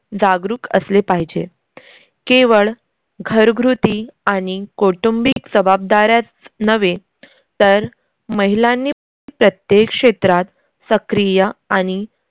जागरूक असले पाहिजे. केवळ घरघ्रुती आणि कौटुंबिक जबाबदाऱ्याच नव्हे तर महिलांनी प्रत्येक क्षेत्रात सक्रिय आनि